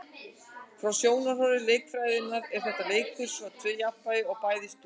Frá sjónarhóli leikjafræðinnar er þetta leikur með tvö jafnvægi, bæði stöðug.